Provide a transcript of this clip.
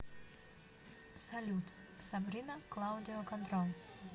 салют сабрина клаудио контрол